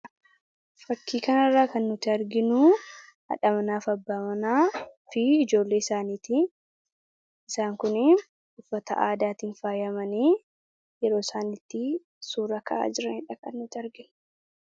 Fakkii kana irraa kan nuti arginu haadha manaaf abbaa manaa fi ijoollee isaaniiti isaan kun uffata aadaatiin faayyamanii yeroo isaan itti suura ka'aa jiraniidha kan nuti arginu.